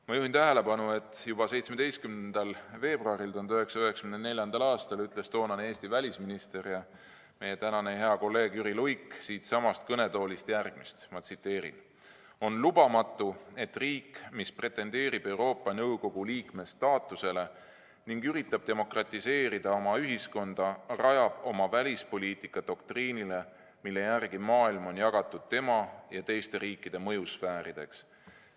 Ma juhin tähelepanu, et juba 17. veebruaril 1994. aastal ütles toonane Eesti välisminister ja meie hea kolleeg Jüri Luik siitsamast kõnetoolist järgmist: "On lubamatu, et riik, mis pretendeerib Euroopa Nõukogu liikme staatusele ning üritab demokratiseerida oma ühiskonda, rajab oma välispoliitika doktriinile, mille järgi maailm on jagatud tema ja teiste riikide mõjusfäärideks.